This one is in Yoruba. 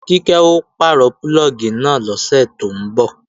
Kíkẹ́ ó pàrọ̀ púlọ̀gì náà lọ́sẹ̀ tó ń bọ̀